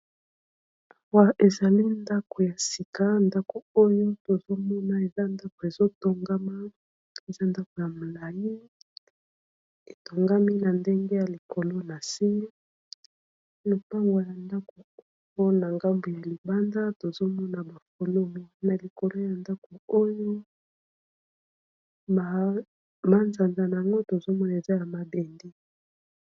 Ezali ndako ya sika ndako oyo tozomona eza ndako ezotongama eza ndako ya molayi etongami na ndenge ya likolo na se lopango ya ndako oyo na ngambu ya libanda tozomona ba fololo na likolo ya ndako oyo mazanzana nango tozomona eza ya mabende.